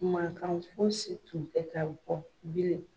kan fosi tun tɛ ka bɔ bilen.